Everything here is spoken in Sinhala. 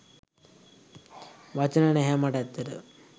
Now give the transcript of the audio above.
වචන නැහැ මට ඇත්තටම